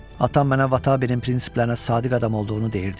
Atam mənə Vatanabinin prinsiplərinə sadiq adam olduğunu deyirdi.